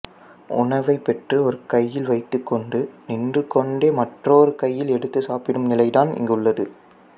உணவைப் பெற்று ஒரு கையில் வைத்துக் கொண்டு நின்று கொண்டே மற்றொரு கையில் எடுத்துச் சாப்பிடும் நிலைதான் இங்குள்ளது